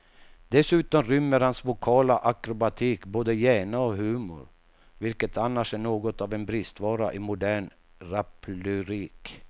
Dessutom rymmer hans vokala akrobatik både hjärna och humor, vilket annars är något av en bristvara i modern raplyrik.